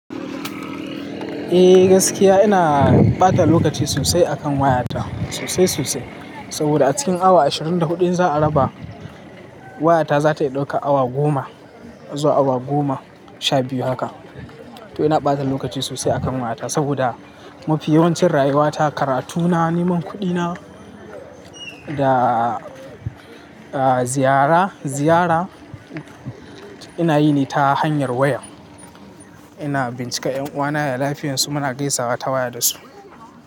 Eh gaskiya ina ɓata lokaci sosai akan wayata sosai sosai. Saboda a cikin awa ashirin da huɗun in za a raba, wayata za ta iya ɗaukar awa goma zuwa awa goma sha biyu haka. To ina ɓata lokaci sosai a kan wayata, saboda mafi yawancin rayuwata karatuna, neman kuɗina da ziyara, ziyara ina yi ne ta hanyar wayar. Ina bincikar ƴan uwana ya lafiyarsu? Muna gaisawa ta waya da su.